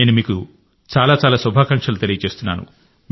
నేను మీకు చాలా చాలా శుభాకాంక్షలు తెలియజేస్తున్నాను